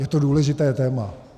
Je to důležité téma.